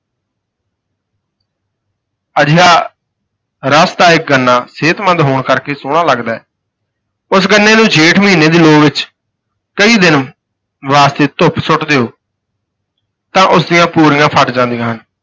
ਅਜਿਹਾ ਰਸ ਦਾ ਇੱਕ ਗੰਨਾ ਸਿਹਤਮੰਦ ਹੋਣ ਕਰਕੇ ਸੋਹਣਾ ਲੱਗਦਾ ਹੈ ਉਸ ਗੰਨੇ ਨੂੰ ਜੇਠ ਮਹੀਨੇ ਦੀ ਲੂੰਅ ਵਿੱਚ ਕਈ ਦਿਨ ਵਾਸਤੇ ਧੁੱਪ ਸੁੱਟ ਦਿਓ ਤਾਂ ਉਸਦੀਆਂ ਪੂਲੀਆਂ ਫਟ ਜਾਂਦੀਆਂ ਹਨ।